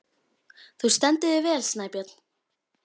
Þú stendur þig vel, Snæbjörn!